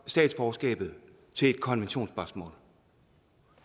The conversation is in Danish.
statsborgerskabet til et konventionsspørgsmål